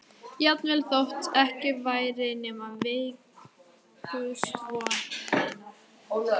Jafnvel þótt ekki væri nema veikustu vonina.